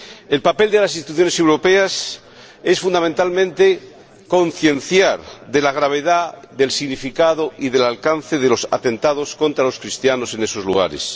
El papel de las instituciones europeas es, fundamentalmente, concienciar sobre la gravedad del significado y del alcance de los atentados contra los cristianos en esos lugares.